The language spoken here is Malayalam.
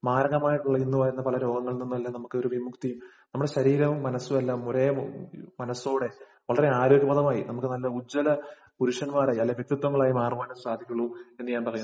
മാരകമായിട്ട് വളര്‍ന്നു വരുന്ന പല രോഗങ്ങളില്‍ നിന്നും നമുക്ക് ഒരു വിമുക്തിയും, നമ്മുടെ ശരീരവും മനസുമെല്ലാം ഒരേ മനസ്സോടെ വളരെ ആരോഗ്യപരമായി, നമുക്ക് നല്ല ഉജ്ജ്വല പുരുഷന്മാരായി, നല്ല വ്യക്തിത്വങ്ങളായി മാറുവാന്‍ സാധിക്കുള്ളൂ എന്ന് ഞാന്‍ പറയുന്നു.